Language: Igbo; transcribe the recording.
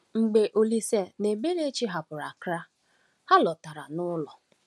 Mgbe Olíse na Eberechi hapụrụ Accra, ha lọtara n’ụlọ.